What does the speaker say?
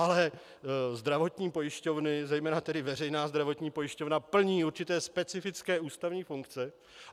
Ale zdravotní pojišťovny, zejména tedy veřejná zdravotní pojišťovna, plní určité specifické ústavní funkce.